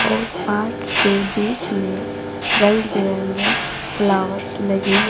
और पार्क के बीच में रंग बिरंगे फ्लावर्स लगे--